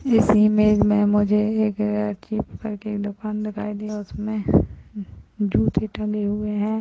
इस इमेज में मुझे एक चिप करके दुकान दिखाई दे उसमे जूते टंगे हुए हैं।